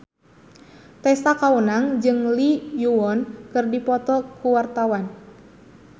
Tessa Kaunang jeung Lee Yo Won keur dipoto ku wartawan